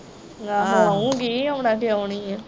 ਆਉਗੀ ਆਉਣਾ ਕਿਉਂ ਨਹੀਂ ਆ।